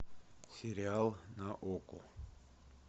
сериал на окко